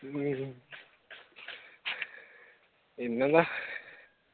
പിന്നെന്താ?